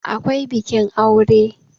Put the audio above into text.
akwai bikin aure